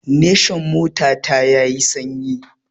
Nation mota ta ya yi sanyi